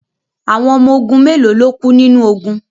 Awon omo ogun melo lo ku ninu ogun